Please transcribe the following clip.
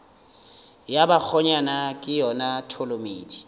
ya bakgonyana ke yona tholomedi